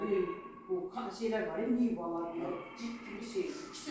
Biz bilmirik, bu şeylər var, meyvələr var, cib kimi şeydir.